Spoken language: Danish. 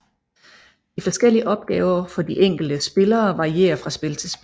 De forskellige opgaver for de enkelte spillere varierer fra spil til spil